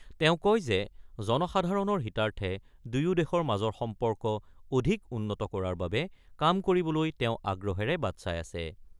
তেওঁ কয় যে, জনসাধাৰণৰ হিতাৰ্থে দুয়োদেশৰ মাজৰ সম্পৰ্ক অধিক উন্নত কৰাৰ বাবে কাম কৰিবলৈ তেওঁ আগ্ৰহেৰে বাট চাই আছে।